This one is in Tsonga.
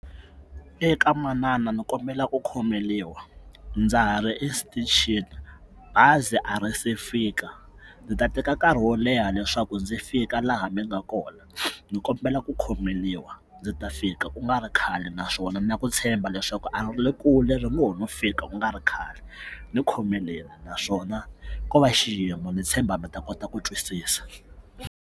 Eka manana ni kombela ku khomeriwa ndza ha ri exitichini bazi a ri se fika ndzi ta teka nkarhi wo leha leswaku ndzi fika laha mi nga kona ndzi kombela ku khomeriwa ndzi ta fika ku nga ri khale naswona na ku tshemba leswaku a ri kule ri ngo ho no fika ku nga ri khale ni khomeleni naswona ko va xiyimo ni tshemba mi ta kota ku twisisa.